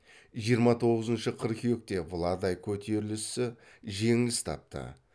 жиырма тоғызыншы қыркүйекте владай көтерілісі жеңіліс тапты